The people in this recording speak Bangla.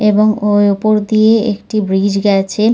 এবং ওই ওপর দিয়ে একটি ব্রিজ গাছে।